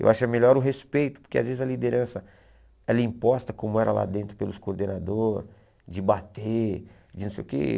Eu acho é melhor o respeito, porque às vezes a liderança ela é imposta, como era lá dentro pelos coordenadores, de bater, de não sei o quê.